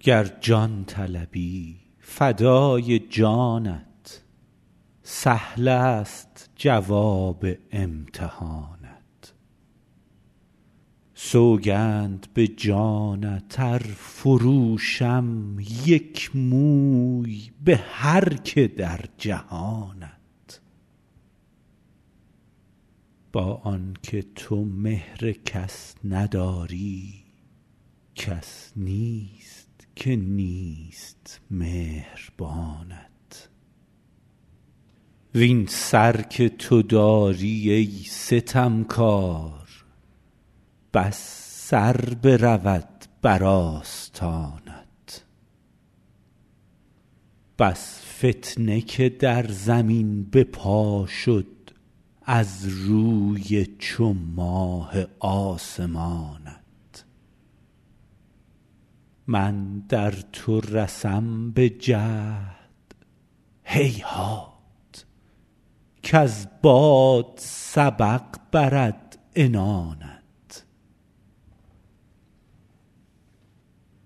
گر جان طلبی فدای جانت سهلست جواب امتحانت سوگند به جانت ار فروشم یک موی به هر که در جهانت با آن که تو مهر کس نداری کس نیست که نیست مهربانت وین سر که تو داری ای ستمکار بس سر برود بر آستانت بس فتنه که در زمین به پا شد از روی چو ماه آسمانت من در تو رسم به جهد هیهات کز باد سبق برد عنانت